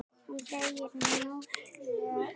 Og er möguleiki á því að atóm séu lífverur?